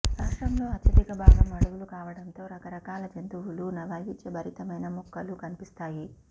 రాష్ట్రంలో అత్యధిక భాగం అడవులు కావడంతో రకరకాల జంతువులూ వైవిధ్యభరితమైన మొక్కలూ కనిపిస్తాయి